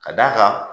Ka d'a kan